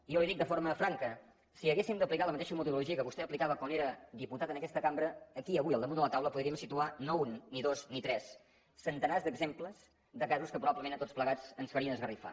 jo li dic de forma franca si haguéssim d’aplicar la mateixa metodologia que vostè aplicava quan era diputat en aquesta cambra aquí avui al damunt de la taula podríem situar no un ni dos ni tres centenars d’exemples de casos que probablement a tots plegats ens farien esgarrifar